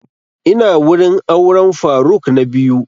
Ina wurin auren faruk na biyu